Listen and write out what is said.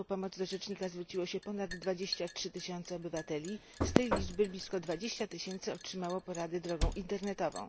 r. o pomoc do rzecznika zwróciło się ponad 23 tysiące obywateli. Z tej liczby blisko 20 tysiące otrzymało poradę drogą internetową.